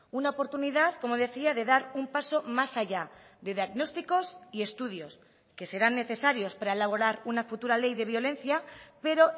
una oportunidad como decía de dar un paso más allá de diagnósticos y estudios que serán necesarios para elaborar una futura ley de violencia pero